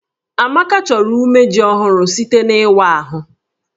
Amaka chọrọ umeji ọhụrụ site n'ịwa ahụ